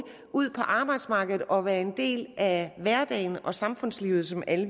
ud på arbejdsmarkedet og være en del af hverdagen og samfundslivet som alle